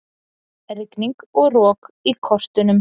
Rigning og rok í kortunum